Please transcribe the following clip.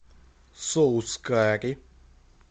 соус карри